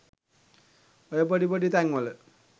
ඔය පොඩි පොඩි තැන්වල